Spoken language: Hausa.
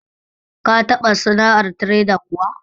Ka taɓa sana'ar tireda kuwa?